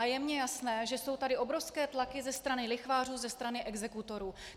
A je mně jasné, že jsou tady obrovské tlaky ze strany lichvářů, ze strany exekutorů.